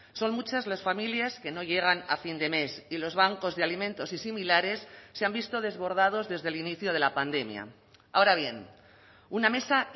son muchas las familias que no llegan a fin de mes y los bancos de alimentos y similares se han visto desbordados desde el inicio de la pandemia ahora bien una mesa